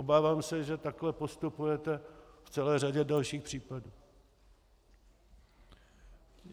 Obávám se, že takhle postupujete v celé řadě dalších případů.